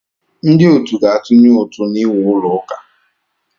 Ndị otu ga-atụnye ụtụ n'iwu ụlọ ụka.